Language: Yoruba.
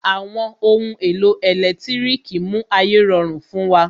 Àwọn ohun èlò ẹ̀lẹ́tírìkì mú ayé rọrùn fún wa.